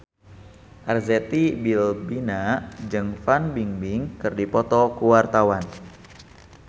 Arzetti Bilbina jeung Fan Bingbing keur dipoto ku wartawan